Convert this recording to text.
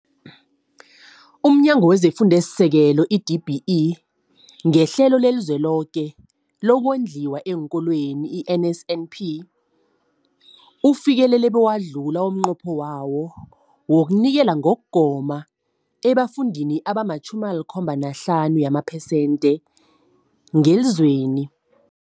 UmNyango wezeFundo esiSekelo, i-DBE, ngeHlelo leliZweloke lokoNdliwa eenKolweni, i-NSNP, ufikelele bewadlula umnqopho wawo wokunikela ngokugoma ebafundini abama-75 yamaphesenthe ngelizweni.